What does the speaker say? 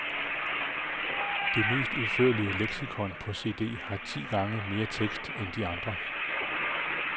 Det mest udførlige leksikon på cd har ti gange mere tekst end de andre.